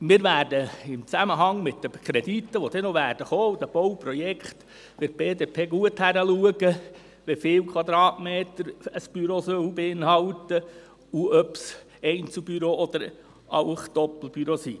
Wir von der BDP werden im Zusammenhang mit den Krediten, die noch kommen werden, und mit den Bauprojekten gut hinschauen, wie viele Quadratmeter ein Büro beinhalten soll und ob es Einzelbüros oder auch Doppelbüros sind.